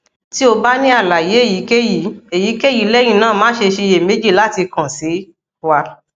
ti o ba ni alaye eyikeyi eyikeyi lẹhinna ma ṣe ṣiyemeji lati kọ si wa